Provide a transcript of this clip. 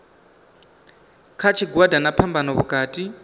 kha tshigwada na phambano vhukati